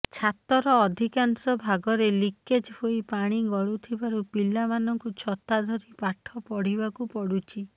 ଛାତର ଅଧିକାଂଶ ଭାଗରେ ଲିକେଜ୍ ହୋଇ ପାଣି ଗଳୁଥିବାରୁ ପିଲାମାନଙ୍କୁ ଛତା ଧରି ପାଠ ପଢ଼ିବାକୁ ପଡୁଛି